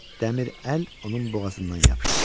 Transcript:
Dəmir əl onun boğazından yapışdı.